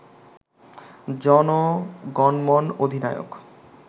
জনগণমন অধিনায়ক